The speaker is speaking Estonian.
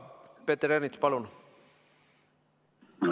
Peeter Ernits, palun!